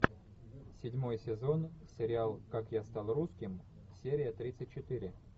седьмой сезон сериал как я стал русским серия тридцать четыре